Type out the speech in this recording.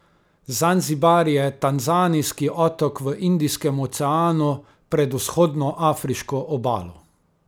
Zanzibar je tanzanijski otok v Indijskem oceanu pred vzhodno afriško obalo.